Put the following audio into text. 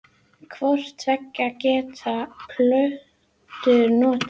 Hvort tveggja geta plöntur notað.